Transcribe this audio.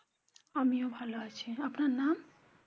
আমি ও ভালো আছি আপনার নাম?